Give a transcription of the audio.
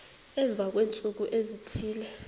emva kweentsuku ezithile